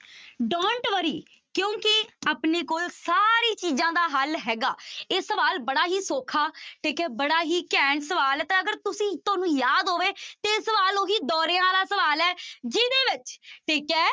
Dont worry ਕਿਉਂਕਿ ਆਪਣੇ ਕੋਲ ਸਾਰੀ ਚੀਜ਼ਾਂ ਦਾ ਹੱਲ ਹੈਗਾ ਇਹ ਸਵਾਲ ਬੜਾ ਹੀ ਸੌਖਾ ਠੀਕ ਹੈ ਬੜਾ ਹੀ ਘੈਂਟ ਸਵਾਲ ਹੈ ਤੇ ਅਗਰ ਤੁਸੀਂ ਤੁਹਾਨੂੰ ਯਾਦ ਹੋਵੇ ਤੇ ਇਹ ਸਵਾਲ ਉਹੀ ਦੋਰਿਆਂ ਵਾਲਾ ਸਵਾਲ ਹੈ ਜਿਹਦੇ ਵਿੱਚ ਠੀਕ ਹੈ,